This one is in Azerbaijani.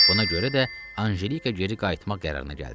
Buna görə də Anjelika geri qayıtmaq qərarına gəldi.